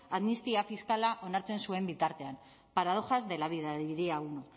amnistia fiskala onartzen zuen bitartean paradojas de la vida diría uno